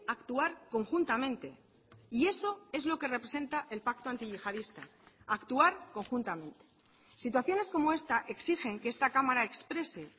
actuar conjuntamente y eso es lo que representa el pacto antiyihadista actuar conjuntamente situaciones como esta exigen que esta cámara exprese